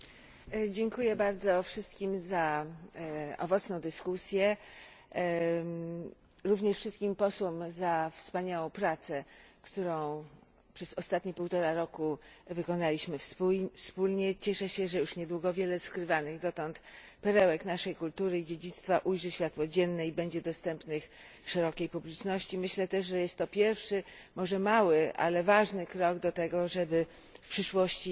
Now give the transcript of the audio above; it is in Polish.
Pani Przewodnicząca! Dziękuję wszystkim za owocną dyskusję, również wszystkim posłom za wspaniałą pracę, którą przez ostatnie półtora roku wykonaliśmy wspólnie. Cieszę się, że już niedługo wiele skrywanych dotąd perełek naszej kultury i dziedzictwa ujrzy światło dzienne i będzie dostępnych szerokiej publiczności, i myślę też, że jest to pierwszy, może mały, ale ważny krok do tego, żeby w przyszłości